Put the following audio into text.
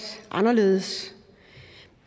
anderledes